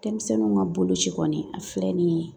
Denmisɛnninw ka boloci kɔni a filɛ nin ye